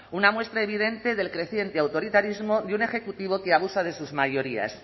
una muestra evidente del creciente autoritarismo de un ejecutivo que abusa de sus mayorías